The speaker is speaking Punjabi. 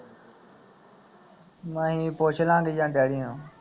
ਨਹੀ ਪੁੱਛ ਲਾਂਗੇ ਜਾਂ ਡੈਡੀ ਨੂੰ